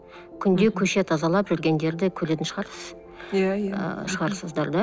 күнде көше тазалап жүргендерді көретін шығарсыз иә иә ыыы шығарсыздар да